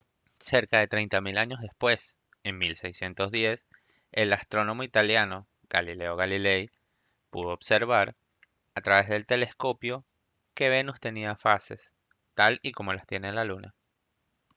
cerca de tres mil años después en 1610 el astrónomo italiano galileo galilei pudo observar a través del telescopio que venus tenía fases tal y como las tiene la luna